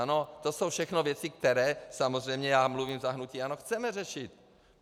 Ano, to jsou všechno věci, které - samozřejmě já mluvím za hnutí ANO - chceme řešit.